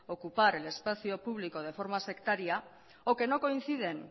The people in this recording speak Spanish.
ocupar el espacio público de forma sectaria o que no coinciden